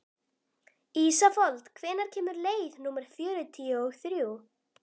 Ísafold, hvenær kemur leið númer fjörutíu og þrjú?